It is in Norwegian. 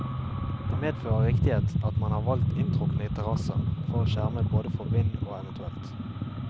Det medfører riktighet at man har valgt inntrukne terrasser, for å skjerme både for vind og evt.